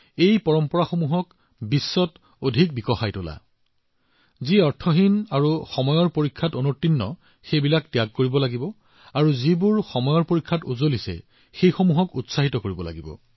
আপোনালোকে পুৰণি কথাবোৰ এৰি দিব লাগিব কিন্তু আপোনালোকে কালজয়ী পৰম্পৰাবোৰ লব লাগিব